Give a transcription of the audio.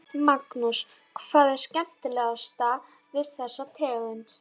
Magnús: Hvað er skemmtilegast við þessa tegund?